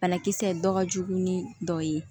Banakisɛ dɔ ka jugu ni dɔ ye